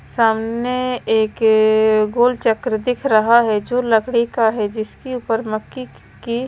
सामने एक गोल चक्र दिख रहा है जो लकड़ी का है जिसके ऊपर मक्की की--